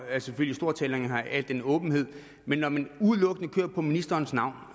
er selvfølgelig stor tilhænger af al den åbenhed men når man udelukkende kører på ministerens navn